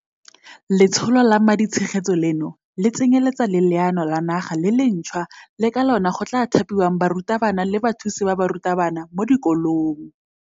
Letsholo la maditshegetso leno le tsenyeletsa le leano la naga le lentšhwa le ka lona go tla thapiwang barutabana le bathusi ba barutabana mo dikolong.